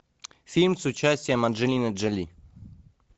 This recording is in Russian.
фильм с участием анджелины джоли